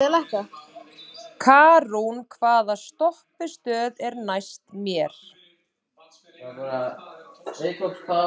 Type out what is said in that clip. Karún, hvaða stoppistöð er næst mér?